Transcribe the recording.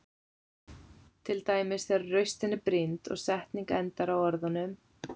Til dæmis þegar raustin er brýnd og setning endar á orðunum.